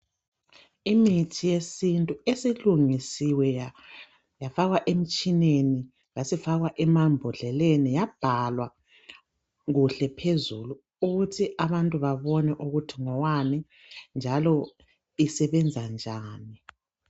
Imithi yesintu esilungisiwe yafakwa emtshineni yasifakwa emambhodleleni, yabhalwa kuhle phezu ukuthi abantu babone ukuthi ngowani njalo isebenza njani.